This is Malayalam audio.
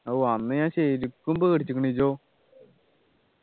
ഓ അന്ന് ഞാൻ ശരിക്കും പേടിച്ചുക്കുണ് ഈയോ